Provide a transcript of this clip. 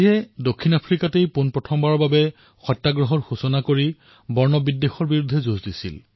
দক্ষিণ আফ্ৰিকাত মহাত্মা গান্ধীয়ে নিজৰ প্ৰথম সত্যাগ্ৰহ আৰম্ভ কৰিছিল আৰু বৰ্ণ প্ৰথাৰ বিৰুদ্ধে থিয় দিছিল